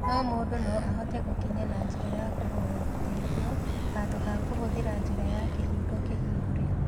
No mũndũ no ahote gũkinya na njĩra ya kũhoya ũteithio handũ ha kũhũthĩra njĩra ya kĩhingo kĩhingũre